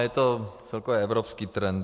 Je to celkově evropský trend.